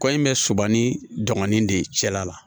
Kɔ in bɛ soba ni dɔgɔnin de ye cɛla la